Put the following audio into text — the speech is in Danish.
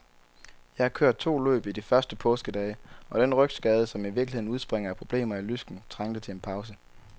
Jeg har kørt to løb i de første påskedage, og den rygskade, som i virkeligheden udspringer af problemer i lysken, trængte til en pause.